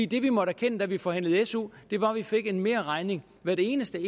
det vi måtte erkende da vi forhandlede su var at vi fik en merregning hvert evig eneste